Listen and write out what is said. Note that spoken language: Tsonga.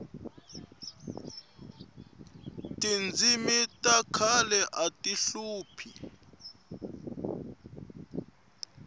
tindzimi ta khale ati hlupha